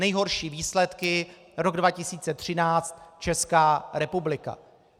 Nejhorší výsledky: rok 2013 - Česká republika.